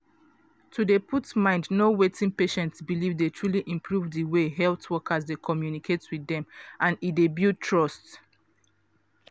to dey put mind know wetin patient believe dey truly improve di way health wokers dey communicate with dem and e dey build trust.